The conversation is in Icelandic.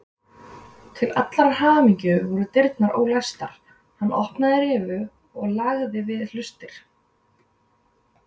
Til allrar hamingju voru dyrnar ólæstar, hann opnaði rifu og lagði við hlustir.